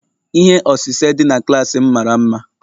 Ihe osise dị na klaasị m mara mma